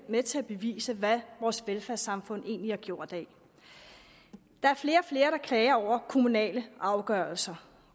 med til at bevise hvad vores velfærdssamfund egentlig er gjort af der er flere og flere der klager over kommunale afgørelser